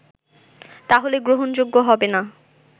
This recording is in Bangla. তাহলে গ্রহণযোগ্য হবেনা”